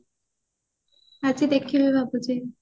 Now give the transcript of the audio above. ଆଜି ଦେଖିବି ଭାବୁଛି